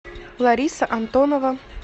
лариса антонова